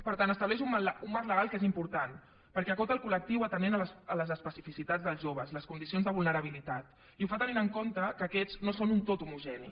per tant estableix un marc legal que és important perquè acota el col·lectiu atenent a les especificitats dels joves les condicions de vulnerabilitat i ho fa tenint en compte que aquests no són un tot homogeni